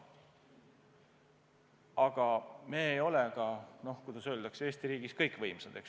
Aga me ei ole, kuidas öelda, Eesti riigis kõikvõimsad.